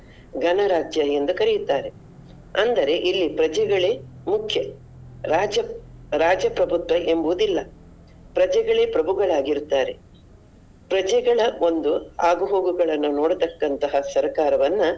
ಗಣರಾಜ್ಯ ಎಂದು ಕರಿಯುತ್ತಾರೆ ಅಂದರೆ ಇಲ್ಲಿ ಪ್ರಜೆಗಳೇ ಮುಖ್ಯ, ರಾಜ್ಯ ರಾಜ್ಯ ಪ್ರಭುತ್ವ ಎಂಬುದು ಇಲ್ಲ ಪ್ರಜೆಗಳೇ ಪ್ರಭುಗಳಾಗಿ ಇರುತ್ತಾರೆ. ಪ್ರಜೆಗಳ ಒಂದು ಆಗು ಹೋಗುಗಳನ್ನು ನೋಡತಕ್ಕಂತಹ ಸರಕಾರವನ್ನ.